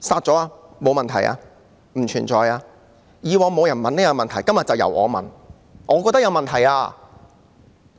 過往沒有人質疑這種做法，今天就由我提問，我覺得有問題。